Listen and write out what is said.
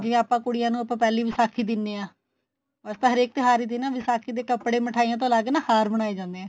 ਜੇ ਆਪਾਂ ਕੁੜੀਆਂ ਨੂੰ ਪਹਿਲੀ ਵਿਸਾਖੀ ਦਿਨੇ ਆ ਅਸੀਂ ਹਰੇਕ ਤਿਉਹਾਰ ਤੇ ਨਾ ਵਿਸਾਖੀ ਦੇ ਕਪੜੇ ਮਿਠਾਈਆ ਤੋਂ ਅੱਲਗ ਨਾ ਹਾਰ ਬਨਾਏ ਜਾਂਦੇ ਏ